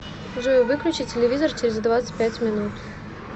джой выключи телевизор через двадцать пять минут